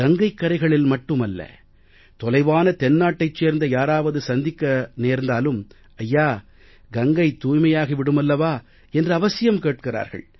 கங்கைக் கரைகளில் மட்டுமல்ல தொலைவான தென்னாட்டைச் சேர்ந்த யாராவது சந்திக்க நேர்ந்தாலும் ஐயா கங்கை தூய்மையாகி விடுமல்லவா என்று அவசியம் கேட்கிறார்கள்